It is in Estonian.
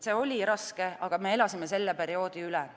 See oli raske, aga me elasime selle perioodi üle.